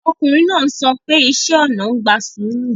Ọkùnrin náà sọ pé iṣẹ́ ona ń gba sùúrù